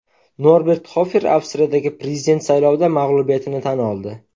Norbert Xofer Avstriyadagi prezident saylovida mag‘lubiyatini tan oldi.